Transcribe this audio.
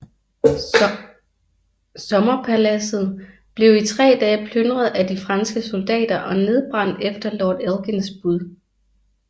Sommerpaladset blev i 3 dage plyndret af de franske soldater og nedbrændt efter lord Elgins bud